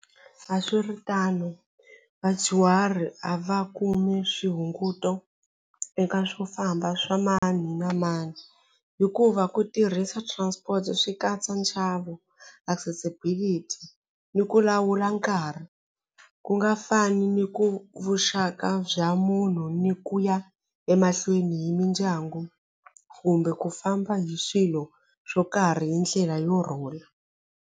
A swi ri tano vadyuhari a va kumi swihunguto eka swofamba swa mani na mani hikuva ku tirhisa transport swi katsa nxavo accessibility ni ku lawula nkarhi ku nga fani ni ku vuxaka bya munhu ni ku ya emahlweni hi mindyangu kumbe ku famba hi swilo swo karhi hi ndlela yo rhula.